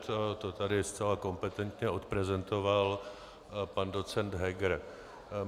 To tady zcela kompetentně odprezentoval pan docent Heger.